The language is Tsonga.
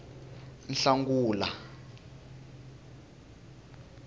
nhlangula